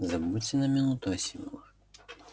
забудьте на минуту о символах